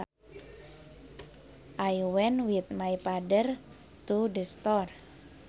I went with my father to the store